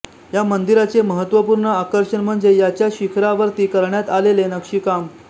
या मंदिराचे महत्त्वपूर्ण आकर्षण म्हणजे याच्या शिखरावरती करण्यात आलेले नक्षीकाम